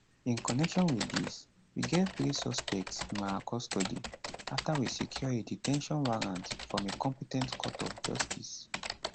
in connection with dis we get three suspects im our custody after we secure a de ten tion warrant from a compe ten t court of justice